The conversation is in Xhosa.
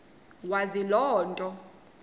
wazi loo nto